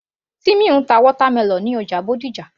Timmy ń ta watermelon ní ọjà Bódìjà